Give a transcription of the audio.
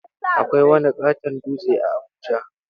Akwai wani ƙaton dutse a Abuja.